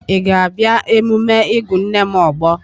Ị ga-abịa emume ịgụ nne m ogbo?